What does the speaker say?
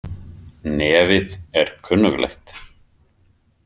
Nefið er kunnuglegt.